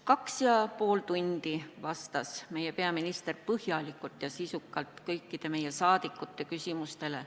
Kaks ja pool tundi vastas meie peaminister põhjalikult ja sisukalt kõikidele meie saadikute küsimustele.